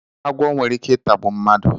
Agwọ nwere Ike itagbu mmadụ